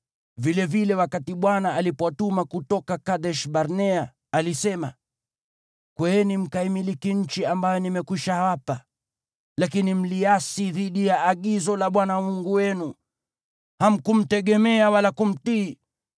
Vilevile wakati Bwana alipowatuma kutoka Kadesh-Barnea, alisema, “Kweeni, mkaimiliki nchi ambayo nimewapa.” Lakini mliasi dhidi ya agizo la Bwana Mungu wenu. Hamkumtegemea wala kumtii.